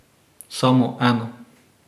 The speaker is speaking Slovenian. Samo eno.